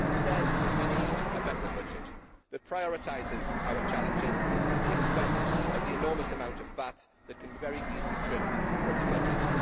Instead we need a better budget, which prioritises our challenges at the expense of the enormous amount of fat that can be very easily trimmed from the budget.